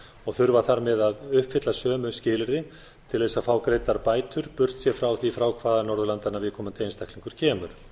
og þurfa þar með að uppfylla sömu skilyrði til þess að fá greiddar bætur burtséð frá hvaða norðurlandanna viðkomandi einstaklingur kemur